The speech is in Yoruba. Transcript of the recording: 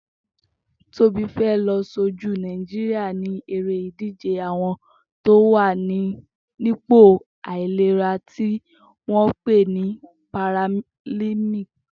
Tobi fè lọ ṣójú Nàijiriá in éré idijé awọn tó wà nipó áilérà ti wọn pé ní pàrálimpiki